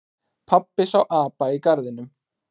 Pabbi sá apa í garðinum.